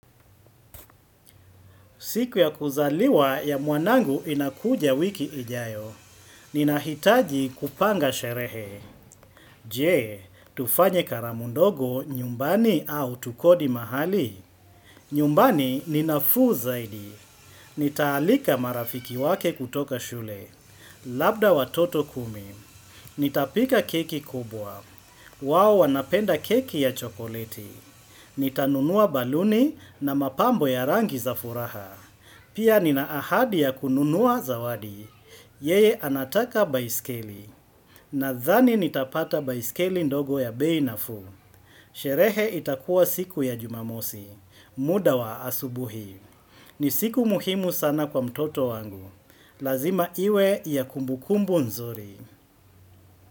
Siku ya kuzaliwa ya muanangu inakuja wiki ijayo. Ninahitaji kupanga sherehe. Jee, tufanye karamu ndogo nyumbani au tukodi mahali. Nyumbani ninafuu zaidi. Nitaalika marafiki wake kutoka shule. Labda watoto kumi. Nitapika keki kubwa. Wao wanapenda keki ya chokoleti. Nitanunua baluni na mapambo ya rangi za furaha. Pia nina ahadi ya kununua zawadi, yeye anataka baiskeli, nadhani nitapata baiskeli ndogo ya bei nafu. Sherehe itakuwa siku ya jumamosi, muda wa asubuhi. Ni siku muhimu sana kwa mtoto wangu. Lazima iwe ya kumbukumbu nzuri.